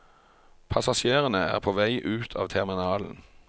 Passasjerene er på vei ut av terminalen.